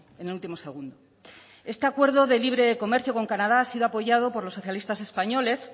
en el último segundo este acuerdo de libre comercio con canadá ha sido apoyado por los socialistas españoles